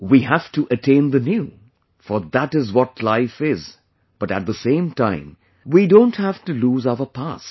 We have to attain the new... for that is what life is but at the same time we don't have to lose our past